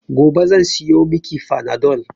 Gobe zan siyo mi ki fanadol